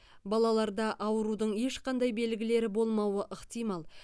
балаларда аурудың ешқандай белгілері болмауы ықтимал